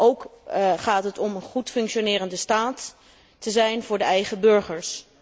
Ook gaat het erom een goed functionerende staat te zijn voor de eigen burgers.